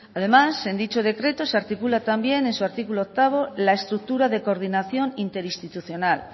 además en dicho decreto se articula también en su artículo octavo la estructura de coordinación interinstitucional